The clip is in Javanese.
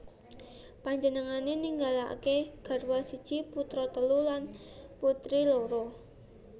Panjenengané ninggalaké garwa siji putra telu lan putri loro